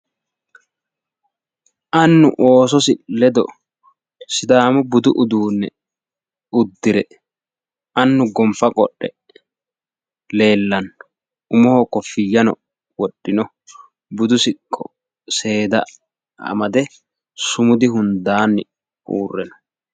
Annu oososi ledo sidsamu budu uduune uddire annu gonfa qodhe leelano umoho kofiyyano wodhino budu siqqo seeda amade sumudu hundaani uurre no.